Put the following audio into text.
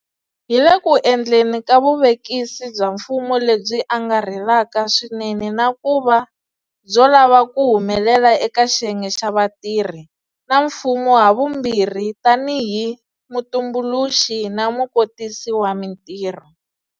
Hi le ku endleni ka vuvekisi bya mfumo lebyi angarhelaka swinene na ku va byo lava ku humelela eka xiyenge xa vatirhi, na mfumo havumbirhi tanihi mutumbuluxi na mukotisi wa mitirho.